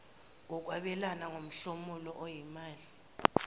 nokwabelana ngomhlomulo oyimali